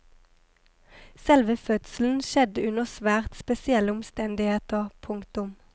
Selve fødselen skjedde under svært spesielle omstendigheter. punktum